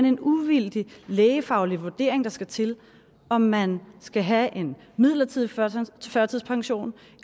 en uvildig lægefaglig vurdering der skal til om man skal have en midlertidig førtidspension